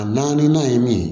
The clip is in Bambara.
A na na ye min